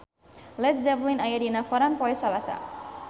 Led Zeppelin aya dina koran poe Salasa